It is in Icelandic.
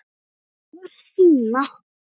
Það var Stína.